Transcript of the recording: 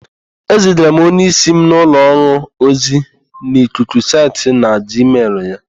Ezigara m onyeísí m n'ụlọ ọrụ ozi n'ikuku site na jiimel ya.